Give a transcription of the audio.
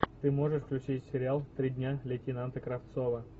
ты можешь включить сериал три дня лейтенанта кравцова